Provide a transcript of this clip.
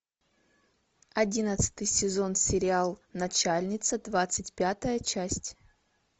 одиннадцатый сезон сериал начальница двадцать пятая часть